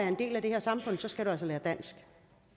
en del af det her samfund skal du altså lære dansk